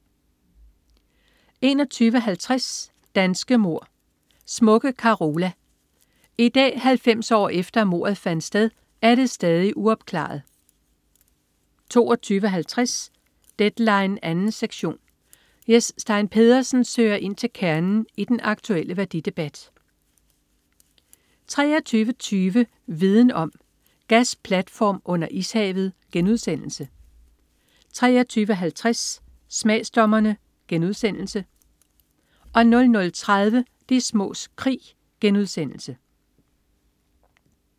21.50 Danske mord: Smukke Carola. I dag, 90 år efter at mordet fandt sted, er det stadig uopklaret 22.50 Deadline 2. sektion. Jes Stein Pedersen søger ind til kernen i den aktulle værdidebat 23.20 Viden om: Gasplatform under ishavet* 23.50 Smagsdommerne* 00.30 De smås krig*